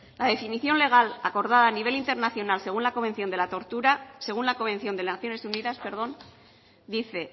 la definición legal acordada a nivel internacional según la convención de las naciones unidas dice